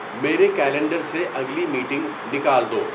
میرے کیلنڈر سے اگلی میٹنگ نکال دو